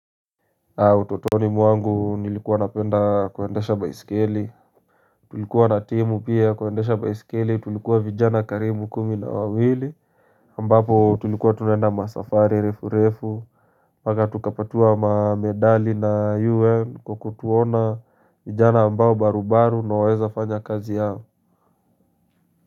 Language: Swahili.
Utotoni mwangu nilikuwa napenda kuendesha baiskeli Tulikuwa na timu pia ya kuendesha baiskeli tulikuwa vijana karibu kumi na wawili ambapo tulikuwa tunaenda masafari refu refu mpaka tukapatiwa mamedali na UN kwa kutuona vijana ambao barubaru na waweza fanya kazi yao.